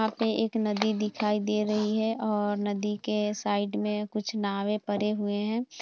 यहाँ पे एक नदी दिखाई दे रही है और नदी के साईड में कुछ नावें परे हुए हैं।